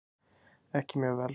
Ekki mjög vel.